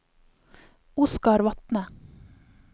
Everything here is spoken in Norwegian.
Oscar Vatne